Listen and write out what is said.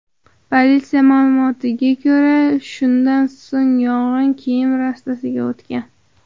Politsiya ma’lumotlariga ko‘ra, shundan so‘ng yong‘in kiyim rastasiga o‘tgan.